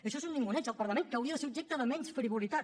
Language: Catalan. això és un ninguneig al parlament que hauria de ser objecte de menys frivolitat